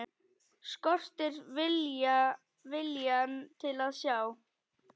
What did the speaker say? Skortir viljann til að sjá.